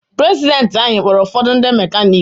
Prezidenti anyị kpọọrụ ụfọdụ ndị mekaniki.